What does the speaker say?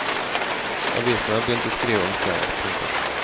Avisene har begynt å skrive om stedet. punktum